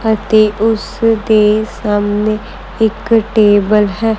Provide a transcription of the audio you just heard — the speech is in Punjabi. ਅਤੇ ਉਸ ਦੇ ਸਾਹਮਣੇ ਇੱਕ ਟੇਬਲ ਹੈ।